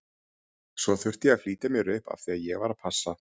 Svo þurfti ég að flýta mér upp af því að ég var að passa.